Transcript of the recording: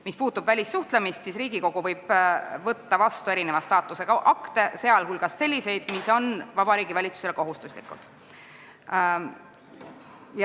Mis puutub välissuhtlemisse, siis Riigikogu võib vastu võtta erineva staatusega akte, sh selliseid, mis on Vabariigi Valitsusele kohustuslikud.